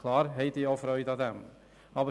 natürlich haben sie an solchen Freude.